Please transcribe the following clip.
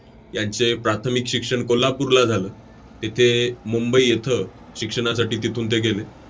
यांचे प्राथमिक शिक्षण कोल्हापूरला झालं. तेथे मुंबई येथं शिक्षणासाठी तिथून ते गेले.